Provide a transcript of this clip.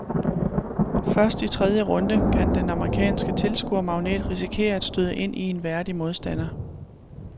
Først i tredje runde kan den amerikanske tilskuermagnet risikere at støde ind i en værdig modstander.